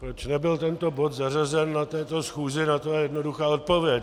Proč nebyl tento bod zařazen na této schůzi, na to je jednoduchá odpověď.